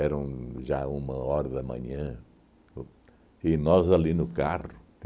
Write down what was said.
um já uma hora da manhã o e nós ali no carro.